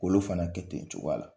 K'olu fana kɛ ten cogoya la